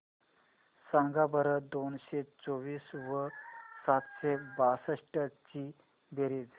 सांगा बरं दोनशे चोवीस व सातशे बासष्ट ची बेरीज